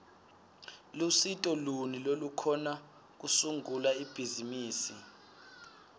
lusito luni lolukhona kusungula ibhizimisi